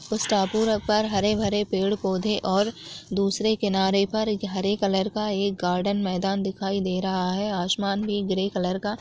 उस टापू र पर हरे-भरे पेड़-पौधे और दूसरे किनारे पर एक हरे कलर का एक गार्डन मैदान दिखाई दे रहा है आसमान भी ग्रे कलर का--